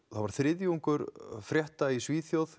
það var þriðjungur frétta í Svíþjóð